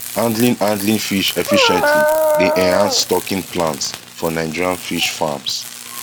handling handling fish efficiently dey enhance stocking plans for nigerian fish farms